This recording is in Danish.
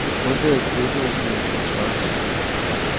Undlad fodnote i hans kontrakt.